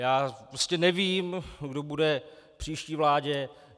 Já prostě nevím, kdo bude v příští vládě.